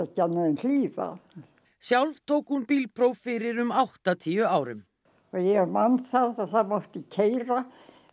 hlýða sjálf tók hún bílpróf fyrir um áttatíu árum ég man það að það mátti keyra